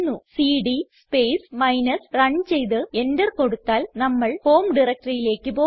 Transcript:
CD space minus run ചെയ്ത് enter കൊടുത്താൽ നമ്മൾ ഹോം directoryയിലേക്ക് പോകും